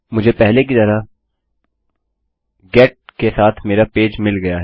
मुझे पहले की तरह मेरे गेट के साथ मेरा पेज मिल गया है